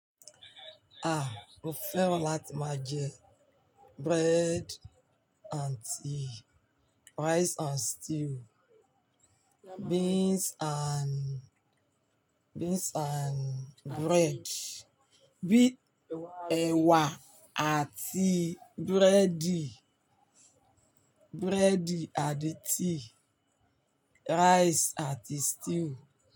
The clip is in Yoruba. Ah! Mo fẹ́ràn láti máa jẹ bread and tea, rice and stew, beans and, beans and bread, bi ewà àti buredi, buredi àti tea, rice àti stew.